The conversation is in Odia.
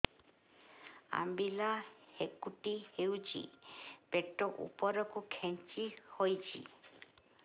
ଅମ୍ବିଳା ହେକୁଟୀ ହେଉଛି ପେଟ ଉପରକୁ ଖେଞ୍ଚି ହଉଚି